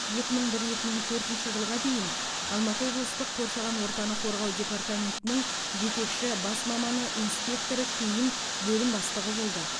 екі мың бір екі мың төртінші жылға дейін алматы облыстық қоршаған ортаны қорғау департаментінің жетекші бас маманы инспекторы кейін бөлім бастығы болды